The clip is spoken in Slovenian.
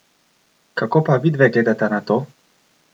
Kako pa vidve gledata na to?